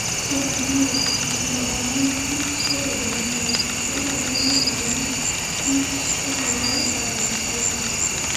Kuom adier, mondo olemb kichobed mang'eny, dwarore ni olemb kichoriwre kanyachiel.